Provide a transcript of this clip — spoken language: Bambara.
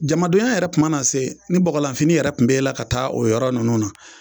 Jamanadonya yɛrɛ kuma na se ni bɔgɔlanfini yɛrɛ kun b'e la ka taa o yɔrɔ ninnu na